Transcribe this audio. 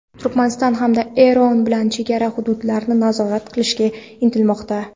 Turkmaniston hamda Eron bilan chegara hududlarini nazorat qilishga intilmoqda.